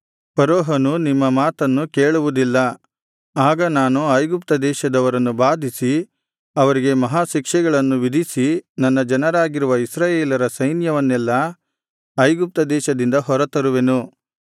ಫರೋಹನು ನಿಮ್ಮ ಮಾತನ್ನು ಕೇಳುವುದಿಲ್ಲ ಆಗ ನಾನು ಐಗುಪ್ತದೇಶದವರನ್ನು ಬಾಧಿಸಿ ಅವರಿಗೆ ಮಹಾಶಿಕ್ಷೆಗಳನ್ನು ವಿಧಿಸಿ ನನ್ನ ಜನರಾಗಿರುವ ಇಸ್ರಾಯೇಲರ ಸೈನ್ಯವನ್ನೆಲ್ಲಾ ಐಗುಪ್ತದೇಶದಿಂದ ಹೊರತರುವೆನು